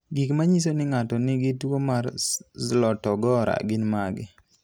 Gik manyiso ni ng'ato nigi tuwo mar Zlotogora gin mage?